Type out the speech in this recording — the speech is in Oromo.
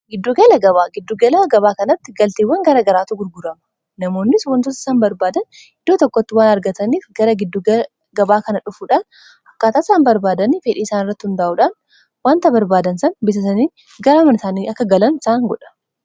giddugelagabaa giddugelaa gabaa kanatti galtiiwwan gara garaatu gurgurama namoonnis wantootasan barbaadan hiddoo tokkotti waan argataniif gara giddugela gabaa kana dhufuudhaan hukkaataasaan barbaadani fedhii isaan irratti hundaa'uudhan wanta barbaadan san bisasanii gara aman isaanii akka galan isaan godha